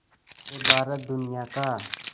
से भारत दुनिया का